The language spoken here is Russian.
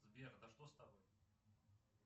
сбер да что с тобой